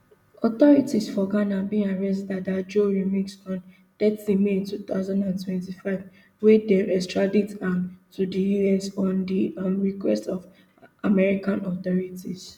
authorities for ghana bin arrest dada joe remix on thirty may two thousand and twenty-five wia dem extradite am to di us on di um request of american authorities